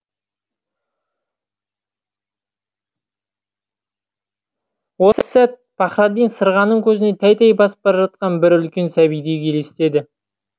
осы сәт пахраддин сырғаның көзіне тәй тәй басып бара жатқан бір үлкен сәбидей елестеді